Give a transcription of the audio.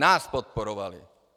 Nás podporovali.